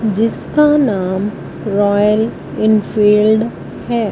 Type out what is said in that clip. जिसका नाम Royal Enfield है।